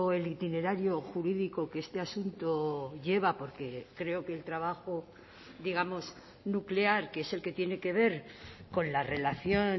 el itinerario jurídico que este asunto lleva porque creo que el trabajo digamos nuclear que es el que tiene que ver con la relación